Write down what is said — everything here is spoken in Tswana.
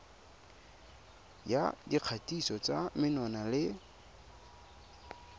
ya dikgatiso tsa menwana le